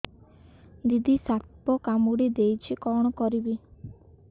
ଦିଦି ସାପ କାମୁଡି ଦେଇଛି କଣ କରିବି